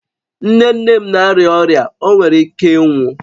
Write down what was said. Nne nne m na-arịa ọrịa, ọ nwere ike ịnwụ